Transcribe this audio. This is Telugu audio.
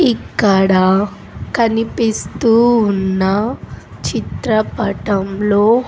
ఇక్కడ కనిపిస్తూ ఉన్న చిత్రపటంలో.